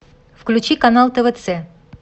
включи канал твц